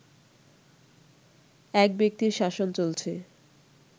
এক ব্যক্তির শাসন চলছে